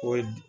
O